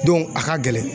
a ka gɛlɛn